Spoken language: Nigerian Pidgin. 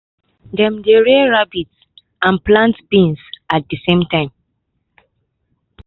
dem dey rear rabbit and plant beans at the same time.